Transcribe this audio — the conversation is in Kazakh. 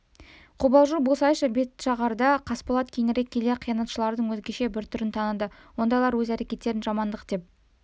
қобалжу болсайшы бәтшағарда қасболат кейінірек келе қиянатшылардың өзгеше бір түрін таныды ондайлар өз әрекеттерін жамандық деп